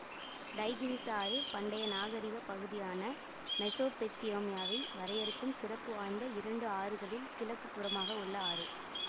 Tigris ஆறு பண்டைய நாகரிகப் பகுதியான மெசொப்பொத்தேமியாவை வரையறுக்கும் சிறப்பு வாய்ந்த இரண்டு ஆறுகளில் கிழக்கு புறமாக உள்ள ஆறு